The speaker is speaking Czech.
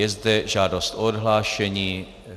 Je zde žádost o odhlášení.